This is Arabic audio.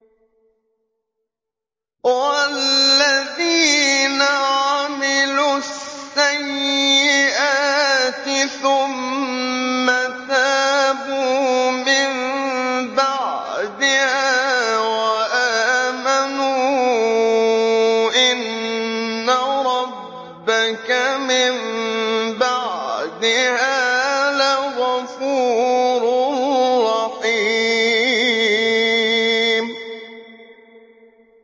وَالَّذِينَ عَمِلُوا السَّيِّئَاتِ ثُمَّ تَابُوا مِن بَعْدِهَا وَآمَنُوا إِنَّ رَبَّكَ مِن بَعْدِهَا لَغَفُورٌ رَّحِيمٌ